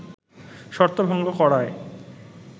শর্ত ভঙ্গ করায়